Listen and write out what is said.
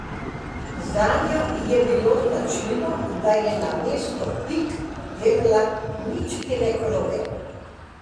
Zanjo je bilo značilno, da je namesto pik delala mičkene kroge.